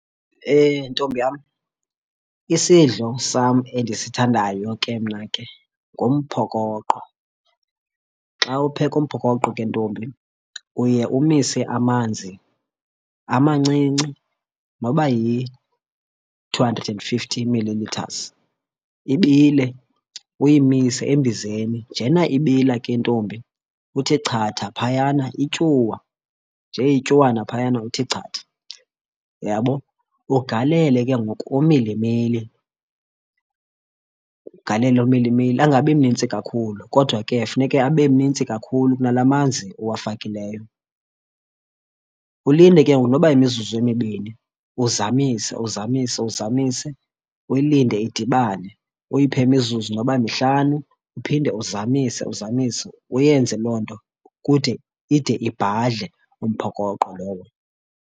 Ntombi yam isidlo sam endisithandayo ke mna ke ngumphokoqo. Xa upheka umphokoqo ke ntombi uye umise amanzi amancinci noba yi-two hundred and fifty milimetres, ibile. Uyimise embizeni njena ibila ke ntombi uthi chatha phayana ityuwa, njee ityuwana phayana uthi chatha, uyabo? Ugalele ke ngoku umilimili, ugalele umilimili angabi mnintsi kakhulu kodwa ke funeke abe mnintsi kakhulu kunala manzi uwafakileyo. Ulinde ke ngoku noba yimizuzu emibini uzamise, uzamise, uzamise, uyilinde idibane. Uyiphe mizuzu noba mihlanu uphinde uzamise, uzamise. Uyenze loo nto kude, ide ibhadle umphokoqo lowo.